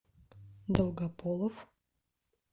долгополов